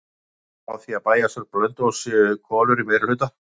Henni er sagt frá því að í bæjarstjórn Blönduóss séu konur í meirihluta.